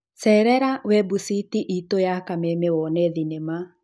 Cerera webuciti itũya kameme wone thinema